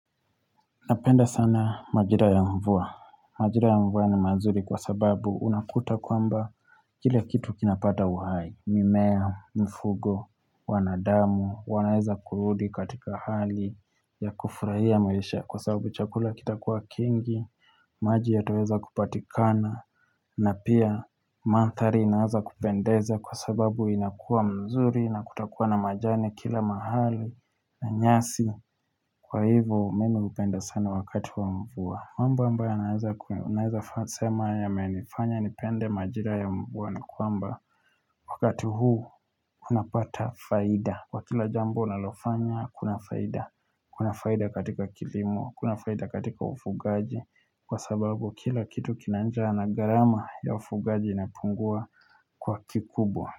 Napenda sana majira ya mvua. Majira ya mvua ni mazuri kwa sababu unakuta kwamba kile kitu kinapata uhai. Mimea, mfugo, wanadamu, wanaeza kurudi katika hali ya kufurahia maisha kwa sababu chakula kita kuwa kingi, maji ya taweza kupatikana, na pia manthari inaza kupendeza kwa sababu inakua nzuri na kutakuwa na majani kila mahali na nyasi. Kwa hivyo mimi hupenda sana wakati wa mvua Mamboa mba yo naeza faa sema ya menifanya ni pende majira ya mvua ni kwamba Wakati huu unapata faida Kwa kila jambo unalofanya kuna faida Kuna faida katika kilimo, kuna faida katika ufugaji Kwa sababu kila kitu kinanjaa na gharama ya ufugaji inapungua kwa kikubwa.